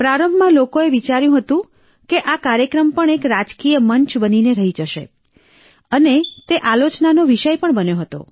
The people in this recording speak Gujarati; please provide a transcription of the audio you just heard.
પ્રારંભમાં લોકોએ વિચાર્યું હતું કે આ કાર્યક્રમ પણ એક રાજકીય મંચ બનીને જ રહી જશે અને તે આલોચનાનો વિષય પણ બન્યો હતો